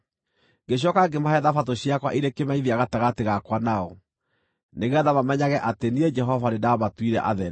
Ngĩcooka ngĩmahe Thabatũ ciakwa irĩ kĩmenyithia gatagatĩ gakwa nao, nĩgeetha mamenyage atĩ niĩ Jehova nĩndamatuire atheru.